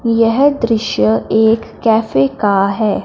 यह दृश्य एक कैफे का है।